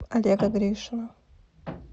олега гришина